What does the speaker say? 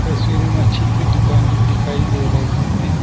तस्वीर में मच्छी की दुकान दिखाई दे रही है।